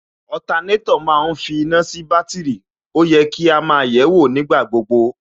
ma ń finá sí bátìrì, ó yẹ kí á máa yẹ̀ẹ́wò nígbà gbogbo